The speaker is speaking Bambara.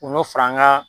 U bɛ fara an ka